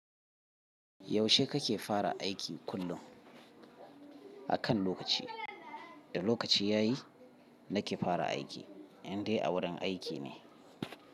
Yaushe kake fara aiki kullum? A kan lokaci, da lokaci ya yi. Nake fara aiki, in dai a wurin aiki ne.